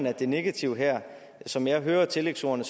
at det negative her som jeg hører tillægsordene